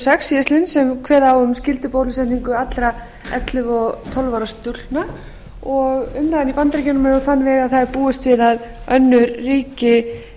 sex síðastliðinn sem kveða á um skyldubólusetningu allra ellefu og tólf ára stúlkna og umræðan í bandaríkjunum er á þann veg að það er búist við að önnur ríki